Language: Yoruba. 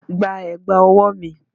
Gba ẹ̀gbà ọwọ́ mi!